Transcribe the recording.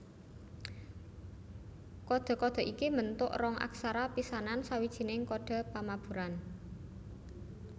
Kodhe kodhe iki mbentuk rong aksara pisanan sawijining kodhe pamaburan